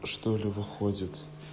что ли выходит